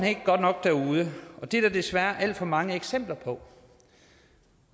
ikke godt nok derude og det er der desværre alt for mange eksempler på